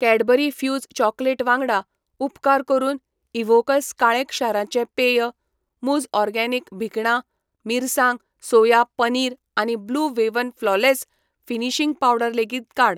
Cadbury Fuse chocolate वांगडा, उपकार करून इव्होकस काळें क्षाराचें पेय, मुझ ऑर्गेनिक भिकणा मिरसांग सोया पनीर आनी Blue Heaven flawless finishing powder लेगीत काड.